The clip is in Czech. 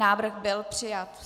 Návrh byl přijat.